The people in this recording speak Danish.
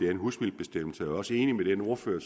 er en husvildebestemmelse jeg er også enig med den ordfører